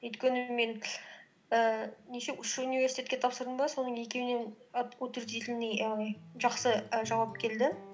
өйткені мен ііі неше үш университетке тапсырдым ба соның екеуінен жақсы і жауап келді